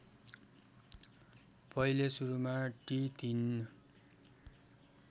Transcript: पहिले सुरुमा टि ३